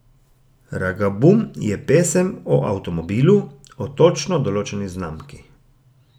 Ragabum je pesem o avtomobilu, o točno določeni znamki.